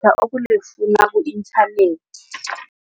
ukulifuna ku-internet.